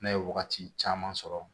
Ne ye wagati caman sɔrɔ